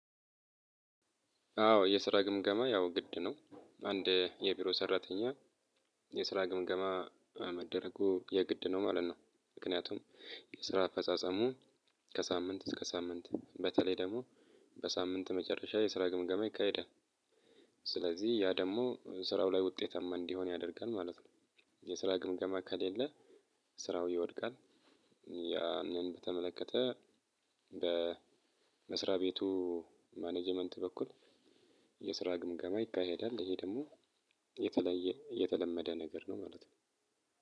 አዎ የስራ ግምገማ ያው ግድ ነው። አንድ የቢሮ ሰራተኛ የስራ ግምገማ መደረጉ የግድ ነው ማለት ነው። ምክንያቱም የስራ አፈጻጸሙ ከሳምንት እስከ ሳምንት በተለይ ደግሞ በሳምንት መጨረሻ የስራ ግምገማ ይካሄዳል። ስለዚህ ያ ደግሞ ስራው ላይ ውጤታማ እንዲሆን ያደርጋል ማለት ነው። የስራ ግምገማ ከሌለ ስራው ይወድቃል። ያንን በተመለከተ በመስሪያ ቤቱ ማኔጀመንት በኩል የስራ ግምገማ ይካሄዳል። ይሄ ደግሞ የተለየ የተለመደ ነገር ነው ማለት ነው።